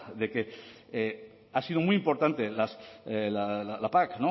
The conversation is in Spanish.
de que ha sido muy importante la pac